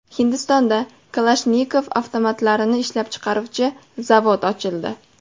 Hindistonda Kalashnikov avtomatlarini ishlab chiqaruvchi zavod ochildi.